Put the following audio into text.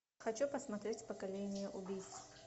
хочу посмотреть поколение убийц